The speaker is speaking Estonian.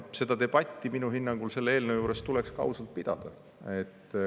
Seda debatti minu hinnangul selle eelnõu juures tuleks ka ausalt pidada.